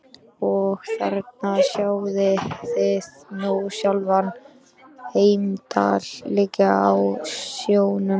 Og þarna sjáið þið nú sjálfan Heimdall liggjandi á sjónum.